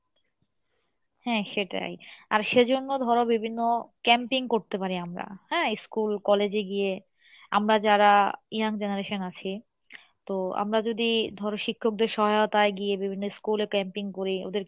হ্যাঁ সেটাই আর সে জন্য ধরো বিভিন্ন camping করতে পারি আমরা, হ্যাঁ school college এ গিয়ে আমরা যারা young generation আছি, তো আমরা যদি ধরো শিক্ষকদের সহাহতাই গিয়ে বিভিন্ন school camping করি,